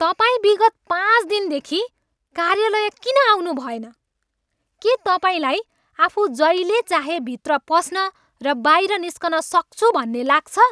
तपाईँ विगत पाँच दिनदेखि कार्यालय किन आउनुभएन? के तपाईँलाई आफू जहिले चाहे भित्र पस्न र बाहिर निस्कन सक्छु भन्ने लाग्छ?